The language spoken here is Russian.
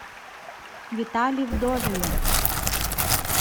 витале вдовину